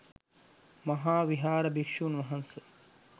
මහා විහාර භික්‍ෂූන් වහන්සේ